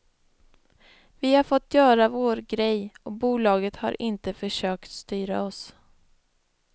Vi har fått göra vår grej och bolaget har inte försökt styra oss.